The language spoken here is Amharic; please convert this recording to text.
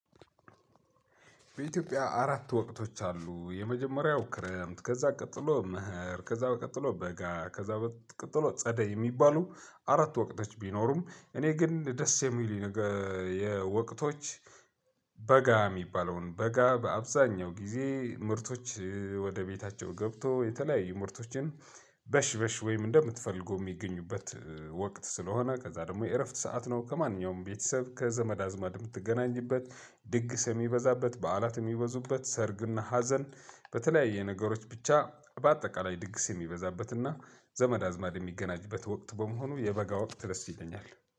በኢትዮጵያ አራት ወቅቶች አሉ። የመጀመሪያው ክረምት ከዛ ቀጥሎ መኸር ከዛ ቀጥሎ በጋ ከዛ ቀጥሎ ጸደይ የሚባሉ አራት ወቅቶች ቢኖሩም። እኔ ግን ደስ የሚሉኝ ነገር የወቅቶች በጋ የሚባለውን በጋ በአብዛኛው ጊዜ ምርቶች ወደ ቤታቸው ገብቶ የተለያዩ ምርቶችን በሽ በሽ ወይም እንደምትፈልገው የሚገኝበት ወቅት ስለሆነ ከዛ ደግሞ የእረፍት ሰዓት ነው። ከማንኛውም ቤተሰብ ከዘመድ አዝማድ የምትገናኝበት ድግስ የሚበዛበት በዓላት የሚበዙበት ሰርግና ሀዘን። በተለያየ ነገሮች ብቻ በአጠቃላይ ድግስ የሚበዛበትና ዘመድ አዝማድ የሚገናኝበት ወቅት በመሆኑ የበጋ ወቅት ደስ ይለኛል።